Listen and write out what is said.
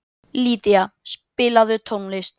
Lýdía, spilaðu tónlist.